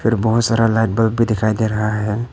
फिर बहुत सारा लाइट बल्ब भी दिखाई दे रहा है।